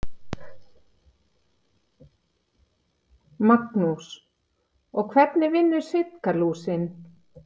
Magnús: Og hvernig vinnur Sitkalúsin?